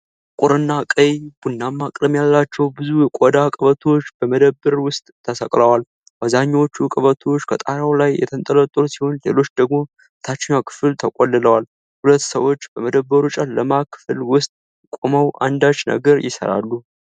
ጥቁርና ቀይ-ቡናማ ቀለም ያላቸው ብዙ የቆዳ ቀበቶዎች በመደብር ውስጥ ተሰቅለዋል። አብዛኛዎቹ ቀበቶዎች ከጣሪያው ላይ የተንጠለጠሉ ሲሆን፣ ሌሎች ደግሞ በታችኛው ክፍል ተቆልለዋል። ሁለት ሰዎች በመደብሩ ጨለማ ክፍል ውስጥ ቆመው አንዳች ነገር ይሰራሉ።